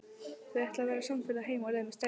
Þau ætla að verða samferða heim á leið með strætó.